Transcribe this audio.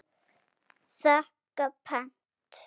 þakka pent.